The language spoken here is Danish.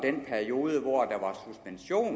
i den periode